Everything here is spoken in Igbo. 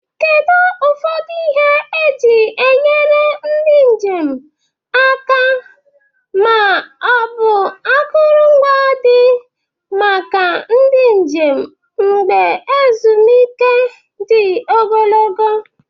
Kedu ụfọdụ ihe eji enyere ndụ aka ma ọ bụ akụrụngwa dị maka ndị njem n'oge ezumike dị ogologo?